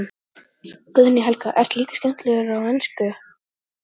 Guðný Helga: Ertu líka skemmtilegur á ensku?